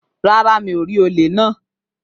Rárá, mi ò rí olè náà